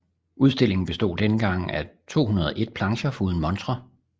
Udstillingen bestod denne gang af 201 plancher foruden montrer